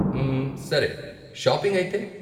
మ్మ్, సరే, షాపింగ్ అయితే?